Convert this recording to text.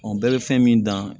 bɛɛ bɛ fɛn min dan